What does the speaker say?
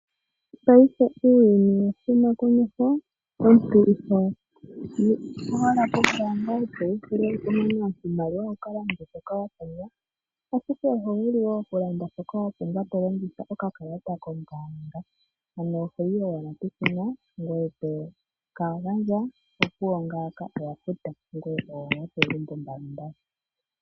Uuyuni owa huma komeho, omuntu oho pumbwa aluhe okuya kombaanga wukanane iimaliwa yaashoka wapumbwa, ashike oho vulu okulanda shoka wapumbwa tolongitha okakalata koye kombaanga. Toyi ashike peshina ngele wa mana okukonga shoka wapumbwa eto suwapa nokakalata koye opuwo ngawo owafuta